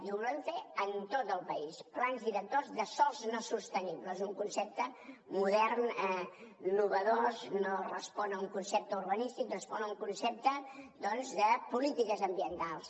i ho volem fer en tot el país plans directors de sòls no sostenibles un concepte modern innovador no respon a un concepte urbanístic respon a un concepte doncs de polítiques ambientals